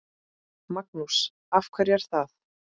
Magnús: Af hverju er það?